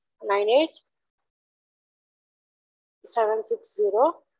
nine eight seven six zero